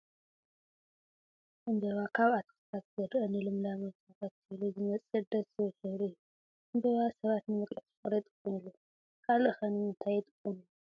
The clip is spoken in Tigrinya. ዕምበባ ኣብ ኣትክልትታት ዝርአ ንልምላመ ተኸቲሉ ዝመፅእ ደስ ዝብል ሕበሪ እዩ፡፡ ዕምበባ ሰባት ንመግለፂ ፍቕሪ ይጥቀሙሉ፡፡ ካልእ ኸ ንምታይ ይጥቀሙሉ?